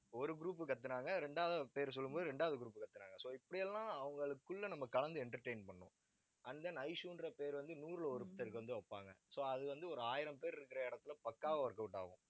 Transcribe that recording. ஒரு group கத்துனாங்க இரண்டாவதா பேர் சொல்லும் போது ரெண்டாவது group கத்துனாங்க. so இப்படி எல்லாம், அவங்களுக்குள்ள நம்ம கலந்து entertain பண்ணணும். and then ishu ன்ற பேர் வந்து, நூறிலே ஒருத்தர்க்கு வந்து, வைப்பாங்க. so அது வந்து ஒரு ஆயிரம் பேர் இருக்கிற இடத்துல பக்காவா workout ஆகும்